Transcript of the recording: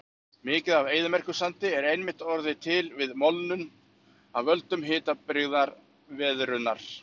Mikið af eyðimerkursandi er einmitt orðið til við molnun af völdum hitabrigðaveðrunar.